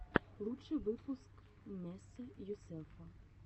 лучший выпуск месса юселфа